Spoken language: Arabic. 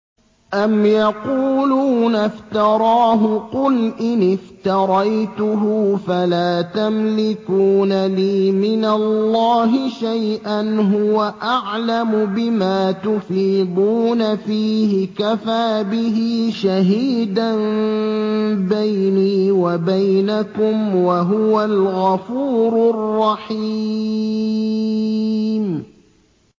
أَمْ يَقُولُونَ افْتَرَاهُ ۖ قُلْ إِنِ افْتَرَيْتُهُ فَلَا تَمْلِكُونَ لِي مِنَ اللَّهِ شَيْئًا ۖ هُوَ أَعْلَمُ بِمَا تُفِيضُونَ فِيهِ ۖ كَفَىٰ بِهِ شَهِيدًا بَيْنِي وَبَيْنَكُمْ ۖ وَهُوَ الْغَفُورُ الرَّحِيمُ